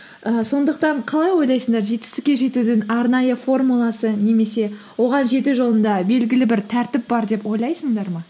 і сондықтан қалай ойлайсыңдар жетістікке жетудің арнайы формуласы немесе оған жету жолында белгілі бір тәртіп бар деп ойлайсыңдар ма